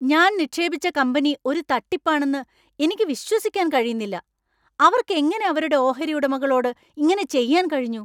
ഞാൻ നിക്ഷേപിച്ച കമ്പനി ഒരു തട്ടിപ്പാണെന്ന് എനിക്ക് വിശ്വസിക്കാൻ കഴിയുന്നില്ല. അവർക്ക് എങ്ങനെ അവരുടെ ഓഹരി ഉടമകളോട് ഇങ്ങനെ ചെയ്യാൻ കഴിഞ്ഞു ?